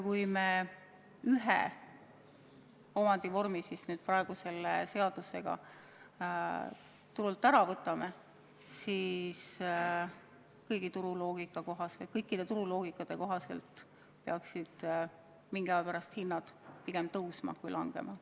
Kui me ühe omandivormi seadusega turult ära kaotame, siis igasuguse turuloogika kohaselt peaksid mingi aja pärast hinnad pigem tõusma, mitte langema.